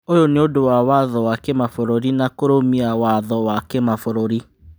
ũyũ nĩ ũndũ wa watho wa kĩmabũrũri na kũrũmia watho wa kĩmabũrũri."